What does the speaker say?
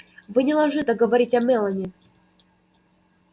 вы не должны так говорить о мелани